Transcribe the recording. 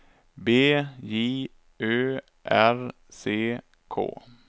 B J Ö R C K